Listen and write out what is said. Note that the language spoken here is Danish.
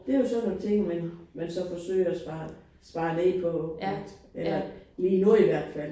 Det jo sådan nogle ting man man så forsøger at spare spare ned på eller lige nu i hvert fald